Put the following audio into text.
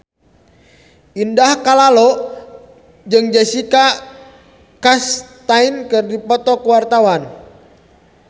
Indah Kalalo jeung Jessica Chastain keur dipoto ku wartawan